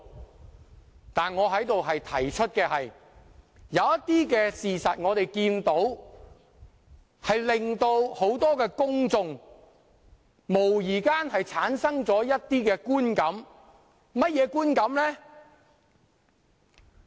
不過，我在此提出的是，有些事實無疑會令公眾產生一些觀感，那是甚麼觀感？